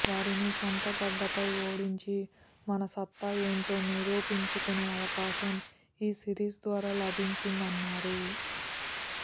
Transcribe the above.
వారిని సొంతగడ్డపై ఓడించి మన సత్తా ఏంటో నిరూపించుకునే అవకాశం ఈ సీరీస్ ద్వారా లభించిందన్నారు